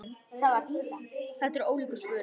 Þetta eru ólíku svörin.